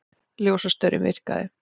Ljósastaurinn virkaði